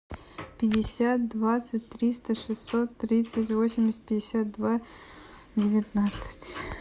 пятьдесят двадцать триста шестьсот тридцать восемьдесят пятьдесят два девятнадцать